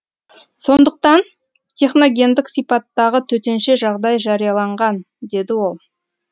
сондықтан техногендік сипаттағы төтенше жағдай жарияланған деді ол